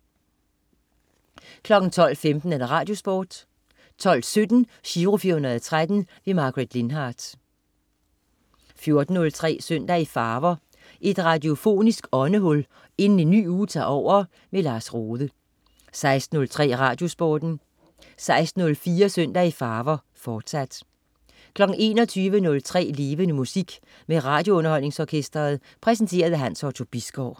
12.15 RadioSporten 12.17 Giro 413. Margaret Lindhardt 14.03 Søndag i farver. Et radiofonisk åndehul inden en ny uge tager over. Lars Rohde 16.03 RadioSporten 16.04 Søndag i farver, fortsat 21.03 Levende Musik. Med RadioUnderholdningsOrkestret. Præsenteret af Hans Otto Bisgaard